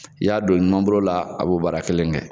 I y'a don i numanbolo la a b'o baara kelen kɛ